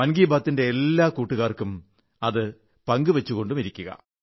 മൻ കീ ബാത്തിന്റെ എല്ലാ കൂട്ടുകാർക്കും അത് പങ്കു വച്ചുകൊണ്ടുമിരിക്കുക